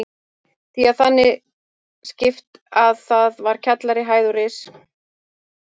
Því var þannig skipt að þar var kjallari, hæð og ris.